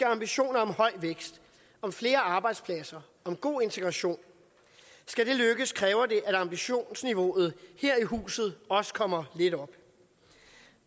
ambitioner om høj vækst om flere arbejdspladser og om en god integration skal det lykkes kræver det at ambitionsniveauet her i huset også kommer lidt op